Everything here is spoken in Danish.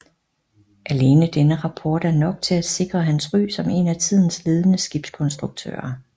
Alene denne rapport er nok til at sikre hans ry som en af tidens ledende skibskonstruktører